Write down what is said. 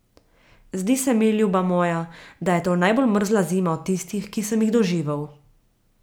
Zdi se mi, ljuba moja, da je to najbolj mrzla zima od tistih, ki sem jih doživel.